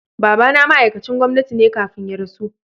Baba na ma'aikacin gwamnati ne kafin ya rasu.